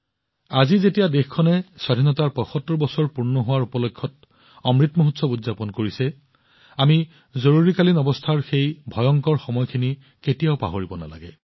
আজি যেতিয়া দেশখনে ইয়াৰ স্বাধীনতাৰ ৭৫ বছৰ উদযাপন কৰি আছে অমৃত মহোৎসৱ উদযাপন কৰিছে আমি জৰুৰীকালীন অৱস্থাৰ সেই ভয়ংকৰ সময়খিনি কেতিয়াও পাহৰিব নালাগে